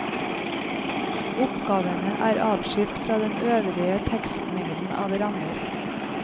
Oppgavene er adskilt fra den øvrige tekstmengden av rammer.